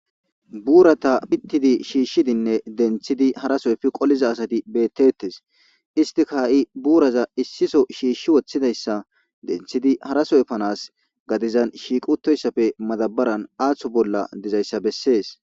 Buurata pittidi shiishshidinne denthidi harasoyfi qoliza asati beettettes istika ha'i buuraza issiso shiishshi woththidayssa denthidi harasoyfanas gadizan shiiqutoyssafe madabaran aaththo bolla dizayssa bessees.